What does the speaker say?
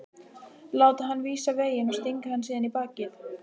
Láta hann vísa veginn og stinga hann síðan í bakið?